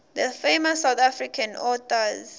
famous south african authors